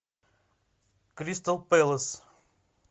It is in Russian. кристал пэлас